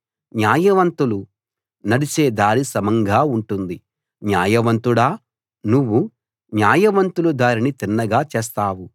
న్యాయవంతులు నడిచే దారి సమంగా ఉంటుంది న్యాయ వంతుడా నువ్వు న్యాయవంతులు దారిని తిన్నగా చేస్తావు